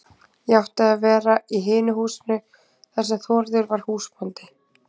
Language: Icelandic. Ég átti að vera í hinu húsinu þar sem Þórður var húsbóndi.